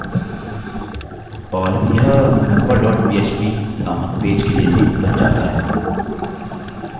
और यह member dot php नामक पेज के लिए लिंक बन जाता है